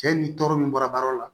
Cɛ ni tɔɔrɔ min bɔra baara yɔrɔ la